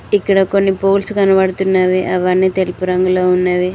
ఇక్కడ కొన్ని బోర్డ్స్ కనబడుతున్నవి అవన్నీ తెలుపు రంగులో ఉన్నవి.